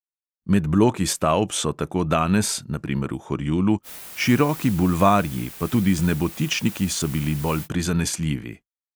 Med bloki stavb so tako danes, na primer v horjulu, široki bulvarji, pa tudi z nebotičniki so bili bolj prizanesljivi.